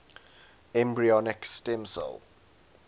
embryonic stem cell